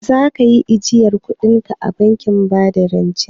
Za kayi ajiyar kudinka a bankin bada rance?